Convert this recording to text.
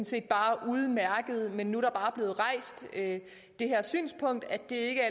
set bare udmærket men nu er der bare blevet rejst det her synspunkt at det ikke